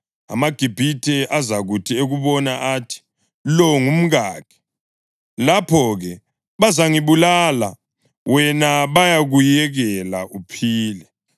AmaGibhithe azakuthi ekubona athi, ‘Lo ngumkakhe.’ Lapho-ke bazangibulala wena bakuyekele uphile.